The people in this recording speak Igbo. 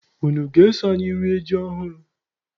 Unu a ga-eso anyị rie ji ọhụrụ?